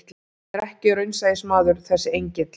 Hann er ekki raunsæismaður þessi engill.